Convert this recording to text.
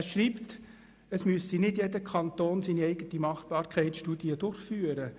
Er schreibt, es müsse nicht jeder Kanton seine eigene Machbarkeitsstudie durchführen.